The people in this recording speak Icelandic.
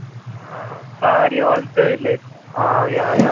Hvað ég var orðin dauðleið á- já, jæja.